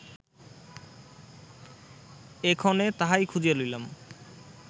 এক্ষণে তাহাই খুঁজিয়া লইলাম